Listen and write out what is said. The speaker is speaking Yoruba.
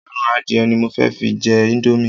Ẹran adìẹ ni mo fẹ́ fi jẹ íńdómì.